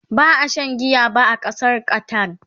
ba a Sha giya ba a Ƙasar Qatar